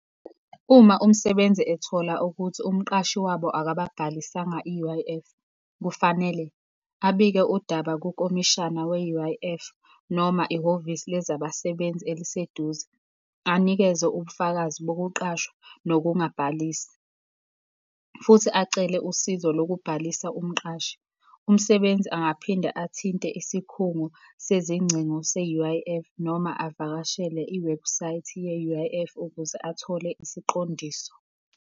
Uma umsebenzi ethola ukuthi umqashi wabo akababhalisanga i-U_I_F, kufanele abike udaba kukomishana we-U_I_F, noma ihhovisi lezabasebenzi eliseduze, anikeze ubufakazi bokuqashwa nokungabhalisi, futhi acele usizo lokubhalisa umqashi. Umsebenzi angaphinde athinte isikhungo sezingcingo se-U_I_F, noma avakashele i-website ye-U_I_F, ukuze athole isiqondiso.